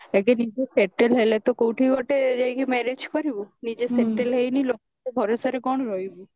ଆଗେ ନିଜେ settle ହେଲେ ତ କଉଠି ଗୋଟେ ଯାଇ କି marriage କରିବୁ ନିଜେ settle ହେଇନି ଆଉ କାହା ଭରସାରେ କଣ ରହିବୁ